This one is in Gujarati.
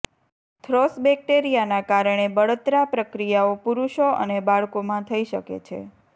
થ્રોશ બેક્ટેરિયાના કારણે બળતરા પ્રક્રિયાઓ પુરુષો અને બાળકોમાં થઈ શકે છે